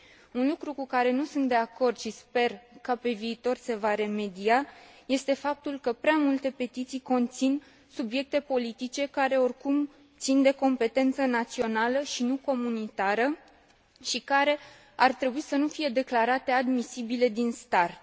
Un lucru cu care nu sunt de acord și sper că, pe viitor, se va remedia este faptul că prea multe petiții conțin subiecte politice care, oricum, țin de competența națională și nu comunitară și care ar trebui să nu fie declarate admisibile din start.